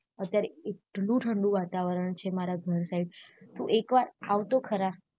અત્યારે એટલું ઠંડુ વાતાવરણ છે મારા ઘર side તુ એકવાર આવ તો ખરા